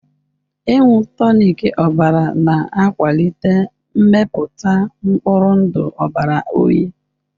Ịṅụ tonic ọbara na-akwalite mmepụta mkpụrụ ndụ ọbara uhie.